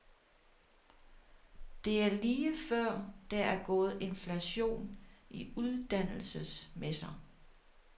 Det er lige før, der er gået inflation i uddannelsesmesser.